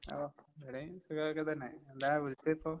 ഓ ഇവടേം സുഖോക്കെത്തന്നെ. എന്താ വിളിച്ചതിപ്പോ?